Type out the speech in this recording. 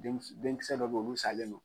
Den denkisɛ dɔ bɛ ye olu salen no.